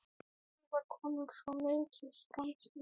Ég var komin svo mikið framyfir.